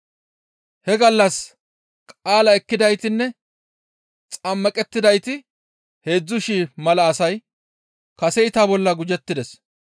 He gallas qaalaa ekkidaytinne xammaqettidayti heedzdzu shii mala asay kaseyta bolla gujettides.